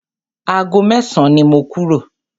Ago mẹ́san ni mo kúrò.